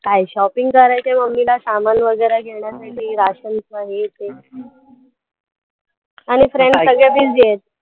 काय shopping करायचं आहे mummy ला समान वैगरे घेण्यासाठी राशनचं हे ते आणि friends सगळे busy आहेत.